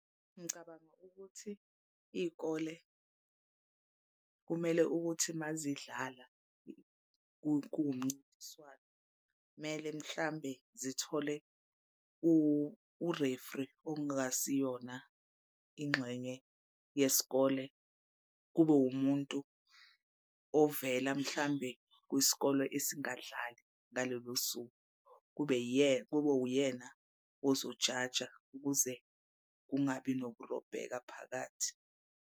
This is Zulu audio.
Ngicabanga ukuthi iy'kole kumele ukuthi uma zidlala kuwumncintiswane kumele mhlawumbe zithole u-referee ongasiyona ingxenye yesikole. Kube wumuntu ovela mhlambe kwisikole esingadlali ngalelo suku. Kube kube uyena ozojaja ukuze kungabi nokurobheka phakathi.